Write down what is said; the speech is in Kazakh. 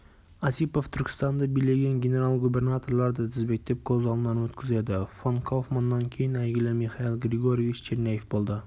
осипов түркістанды билеген генерал-губернаторларды тізбектеп көз алдынан өткізеді фон кауфманнан кейін әйгілі михаил григорьевич черняев болды